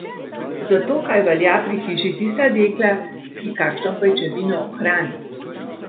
Zato kaj velja pri hiši tista dekla, ki kakšno pajčevino ohrani.